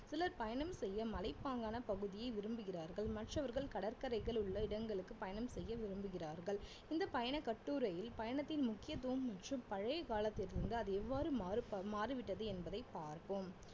சிலர் பயணம் செய்ய மலைப்பாங்கான பகுதியே விரும்புகிறார்கள் மற்றவர்கள் கடற்கரைகள் உள்ள இடங்களுக்கு பயணம் செய்ய விரும்புகிறார்கள் இந்த பயணக்கட்டுரையில் பயணத்தின் முக்கியத்துவம் மற்றும் பழைய காலத்தில் இருந்து அது எவ்வாறு மாறுபா~ மாறிவிட்டது என்பதை பார்ப்போம்